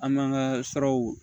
An m'an ka siraw